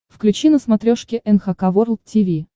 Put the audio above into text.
включи на смотрешке эн эйч кей волд ти ви